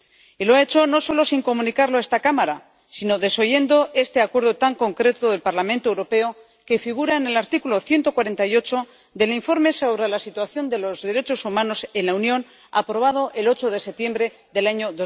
Y lo ha hecho no solo sin comunicarlo a esta Cámara, sino desoyendo este acuerdo tan concreto del Parlamento Europeo que figura en el apartado 148 del Informe sobre la situación de los derechos fundamentales en la Unión aprobado el 8 de septiembre del año